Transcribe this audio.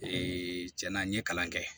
cɛn na n ye kalan kɛ